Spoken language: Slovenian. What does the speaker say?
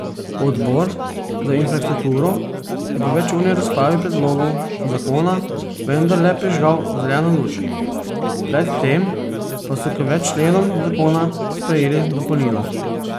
Odbor za infrastrukturo je po večurni razpravi predlogu zakona vendarle prižgal zeleno luč, pred tem pa so k več členom zakona sprejeli dopolnila.